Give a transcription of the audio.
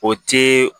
O ti